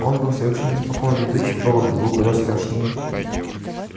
он был совершенно спокоен летучий порох был куда страшнее